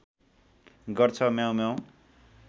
गर्छ म्याउँम्याउँ